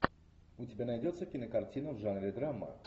у тебя найдется кинокартина в жанре драма